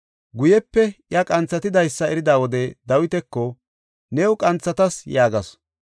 Guyepe iya qanthatidaysa erida wode Dawitako, “New qanthatas” yaagasu.